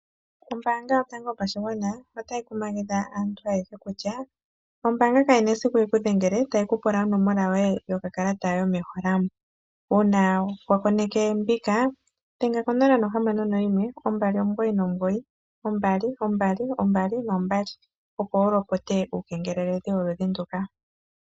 Ombaanga yotango yopashigwana otayi kumagidha aantu ayehe kutya ombaanga kayi na esiku yikudhengele tayi pula onomola yoye yokakalata yomehola mo, uuna wa koneke mbika dhenga konomola 0612992222 opo wu lopote uukengeleli woludhi nduka.